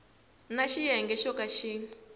na xiyenge xo ka xi